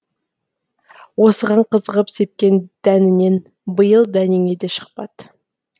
осыған қызығып сепкен дәнінен биыл дәнеңе де шықпады